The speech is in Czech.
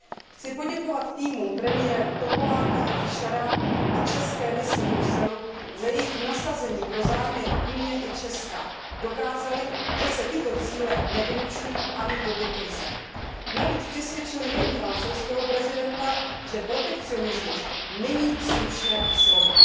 Chci poděkovat týmům premiérů Topolánka a Fischera a české misi v Bruselu za jejich nasazení pro zájmy Unie i Česka. Tyto týmy dokázaly, že se tyto zájmy nevylučují ani v době krize. Navíc přesvědčily nejen francouzského prezidenta, že protekcionismus není slušné slovo.